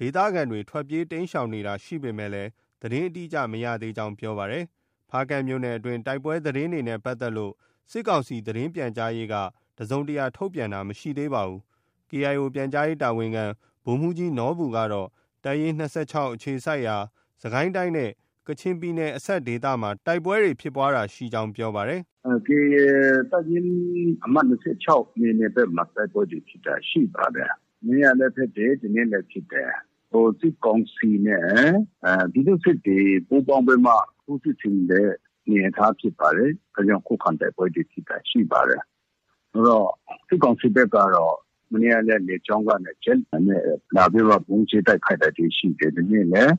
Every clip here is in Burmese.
ဒေသခံတွေ ထွက်ပြေးတိမ်းရှောင်တာရှိပေမယ့် သတင်းအတိအကျ မရသေးကြောင်း ပြောပါတယ်။ ဖားကန့်မြို့နယ်တွင်း တိုက်ပွဲသတင်းတွေနဲ့ ပတ်သက်လို့ စစ်ကောင်စီ သတင်းပြန်ကြားရေးက တစုံတရာထုတ်ပြန်တာ မရှိသေးပါဘူး။ KIO ပြန်ကြားရေးတာဝန်ခံ ဗိုလ်မှူးကြီးနော်ဘူကတော့ တပ်ရင်း ၂၆ အခြေစိုက်ရာ စစ်ကိုင်းတိုင်းနဲ့ ကချင်ပြည်နယ်အစပ်ဒေသမှာ တိုက်ပွဲဖြစ်ပွားတာရှိကြောင်း ပြောပါတယ်။ “ KIA တပ်ရင်း အမှတ် ၂၆ နယ်မြေဘက်မှာ တိုက်ပွဲဖြစ်တာတွေ ရှိပါတယ်။ မနေ့ကလည်း ဖြစ်တယ်။ ဒီနေ့လည်းဖြစ်တယ်။ စစ်ကောင်စီနဲ့ ပြည်သူ့စစ်တွေ ပူးပေါင်းပြီးမှ ထိုးစစ်ဆင်တဲ့ အနေအထား ဖြစ်ပါတယ်။ ဒါကြောင့် ခုခံတိုက်ပွဲဖြစ် တာတွေ ရှိပါတယ်။ စစ်ကောင်စီဘက်ကတော့ မနေ့ကလည်း လေကြောင်းကနေ ဂျက်လေယာဉ်နဲ့ လာပြီးဗုံးကြဲ တိုက်ခိုက်တာတွေ ရှိတယ်။ ဒီနေ့လည်း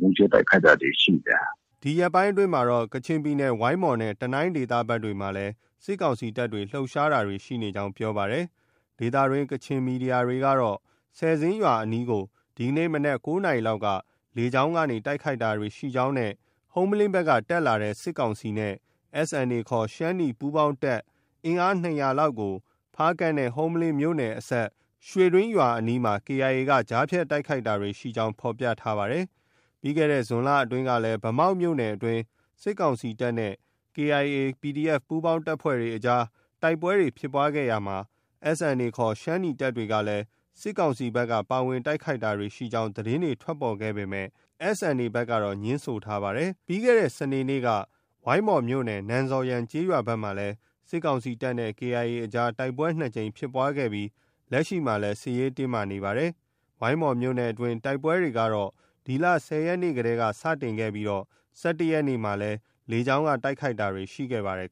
ဗုံးကြဲတိုက်ခိုက်တာတွေ ရှိတယ်။” ဒီ ရက်ပိုင်းအတွင်းမှာတော့ ကချင်ပြည်နယ် ဝိုင်းမော်နဲ့ တနိုင်းဒေသဘက်တွေမှာလည်း စစ်ကောင်စီတပ်တွေ လှုပ်ရှားမှုတွေ ရှိနေကြောင်း ပြောပါတယ်။ ဒေသတွင်း ကချင်သတင်းမီဒီယာတွေကတော့ ဆယ်ဇင်းရွာအနီးကို ဒီနေ့ မနက် ၉ နာရီလောက်က လေကြောင်းကတိုက်ခိုက်တာရှိကြောင်းနဲ့ ဟုမ္မလင်းဘက်က တက်လာတဲ့ စစ်ကောင်စီနဲ့ SNA ခေါ် ရှမ်းနီ ပူးပေါင်းတပ် အင်အား ၂၀၀ လောက်ကို ဖားကန့်နဲ့ ဟုမ္မလင်းမြို့နယ်အစပ် ရွှေတွင်းရွာအနီးမှာ KIA က ကြားဖြတ်တိုက်ခိုက်တာတွေ ရှိကြောင်း ဖော်ပြထားပါတယ်။ ပြီးခဲ့တဲ့ဇွန်လအတွင်းကလည်း ဗန်းမောက်မြို့နယ်အတွင်း စစ်ကောင်စီတပ်နဲ့ KIA ၊ PDF ပူးပေါင်းတပ်တွေအကြား တိုက်ပွဲဖြစ်ပွားရာမှာ SNA ခေါ် ရှမ်းနီတပ်တွေက စစ်ကောင်စီဘက်က ပါဝင်တိုက်ခိုက်တာရှိကြောင်း သတင်းထွက်ပေါ်ခဲ့ပေမယ့် SNA ဘက်ကတော့ ငြင်းဆိုထားပါတယ်။ ပြီးခဲ့တဲ့ စနေနေ့က ဝိုင်းမော်မြို့နယ် နန်ဇော်ယန်ကျေးရွာဘက်မှာလည်း စစ်ကောင်စီတပ်နဲ့ KIA အကြား တိုက်ပွဲ ၂ ကြိမ်ဖြစ်ပွားခဲ့ပြီး လက်ရှိမှာလည်း စစ်ရေးတင်းမာလျက် ရှိနေပါတယ်။ ဝိုင်းမော်မြို့နယ်အတွင်း တိုက်ပွဲတွေကတော့ ဒီလ ၁၀ ရက်နေ့တည်းက စတင်ခဲ့ပြီး ၁၁ ရက်နေ့မှာ လေကြောင်းက တိုက်ခိုက်တာတွေ ရှိခဲ့ပါတယ်